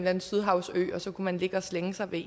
anden sydhavsø og så kunne man ligge og slænge sig ved